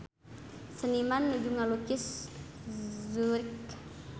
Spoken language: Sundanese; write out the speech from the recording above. Seniman nuju ngalukis Zurich